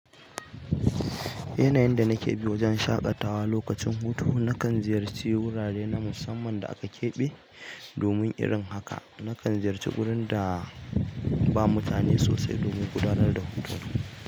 Yanayin da nake bi wajen shaƙatawa lokacin hutu na kan ziyarci wurare na musamman da aka ƙeɓe domin irin haka. Nakan ziyarci wurin da ba mutane sosai domin gudanar da hutu.